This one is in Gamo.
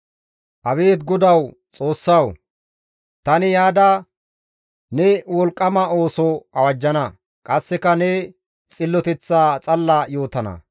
Abeet Godawu, Xoossawu! Tani yaada ne wolqqama ooso awajjana; qasseka ne xilloteththaa xalla yootana.